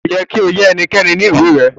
Ko yẹ ki o ya ẹnikẹ́ni ni ìwé rẹ.